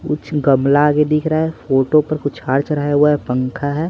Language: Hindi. कुछ गमला आगे दिख रहा है फोटो पर कुछ हार चढ़ाया हुआ है पंखा है।